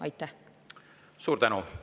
Suur tänu!